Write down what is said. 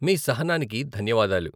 మీ సహనానికి ధన్యవాదాలు.